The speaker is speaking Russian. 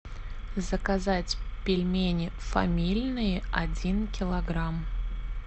заказать пельмени фамильные один килограмм